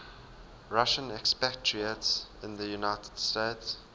russian expatriates in the united states